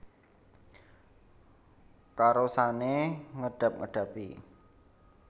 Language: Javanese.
Karosane ngedab edabi